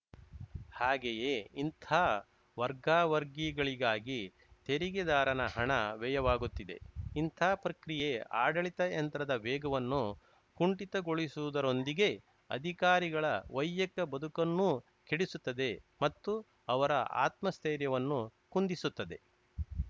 ಹಾಗೆಯೇ ಇಂತಹ ವರ್ಗಾವರ್ಗಿಗಳಿಗಾಗಿ ತೆರಿಗೆದಾರನ ಹಣ ವ್ಯಯವಾಗುತ್ತಿದೆ ಇಂತಹ ಪ್ರಕ್ರಿಯೆ ಆಡಳಿತ ಯಂತ್ರದ ವೇಗವನ್ನು ಕುಂಠಿತಗೊಳಿಸುವುದರೊಂದಿಗೆ ಅಧಿಕಾರಿಗಳ ವೈಯಕ ಬದುಕನ್ನೂ ಕೆಡಿಸುತ್ತದೆ ಮತ್ತು ಅವರ ಆತ್ಮಸ್ಥೈರ್ಯವನ್ನು ಕುಂದಿಸುತ್ತದೆ